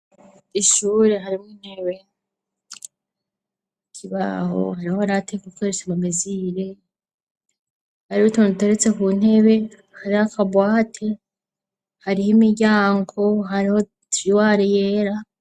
Ishuri harimwo intebe kibaho hariho aratek gukeresha amamizire hari ruton teretse ku ntebe hariakabuat hariho imiryango hariho triwar yera.